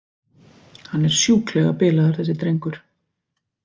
Hann er sjúklega bilaður þessi drengur.